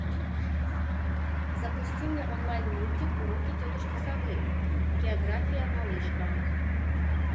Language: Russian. запусти мне онлайн мультик уроки тетушки совы география малышка